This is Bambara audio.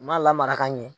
U m'a lamara ka ɲɛ